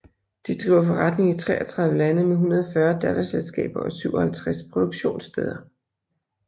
De driver forretning i 33 lande med 140 datterselskaber og 57 produktionssteder